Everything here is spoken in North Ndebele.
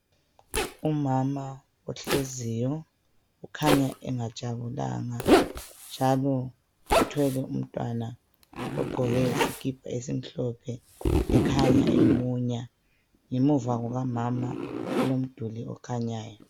Umama ohleziyo ukhanya engajabulanga njalo uthwele umntwana ogqoke isikipa esimhlophe ukhanya emunya ngemuva kukamama kulomduli okhanyayo.